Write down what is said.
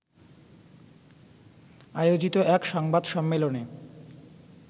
আয়োজিত এক সংবাদ সম্মেলনে